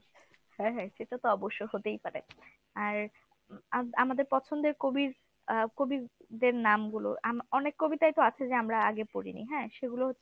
হ্যাঁ হ্যাঁ সেটা তো অবশ্য হতেই পারে। আর আম ~ আমাদের পছন্দের কবির আহ কবিদের নাম গুলো আম অনেক কবিতাই তো আছে যে আমরা আগে পড়িনি হ্যাঁ সেগুলো হচ্ছে